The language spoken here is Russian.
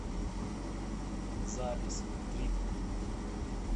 запись трит